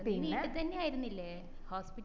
നീ വീട്ടി തന്നെ ആയിരുന്നില്ലേ